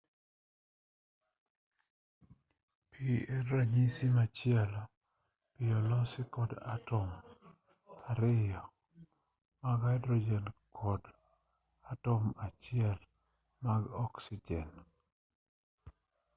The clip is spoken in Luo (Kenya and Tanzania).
pi en ranyisi machielo pi olosi kod atom ariyo mag haidrojen kod atom achiel mar oksijen